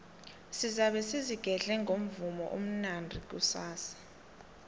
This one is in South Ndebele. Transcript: sizabe sizigedle ngomvumo omnandi kusasa